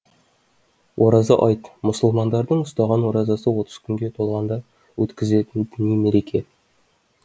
ораза аи т мұсылмандардың ұстаған оразасы отыз күнге толғанда өткізілетін діни мереке